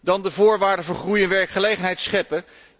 Dan de voorwaarden voor groei en werkgelegenheid scheppen.